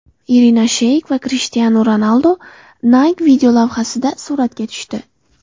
Irina Sheyk va Krishtianu Ronaldu Nike videolavhasida suratga tushdi.